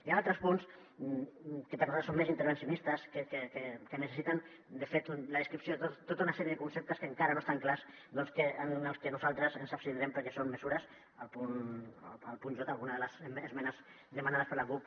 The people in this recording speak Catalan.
hi han altres punts que per nosaltres són més intervencionistes que necessiten de fet la descripció de tota una sèrie de conceptes que encara no estan clars en els que nosaltres ens abstindrem perquè són mesures el punt j alguna de les esmenes demanades per la cup